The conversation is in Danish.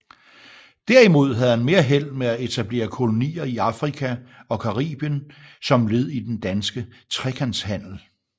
Derimod havde han mere held med at etablere kolonier i Afrika og Caribien som led i den danske trekantshandel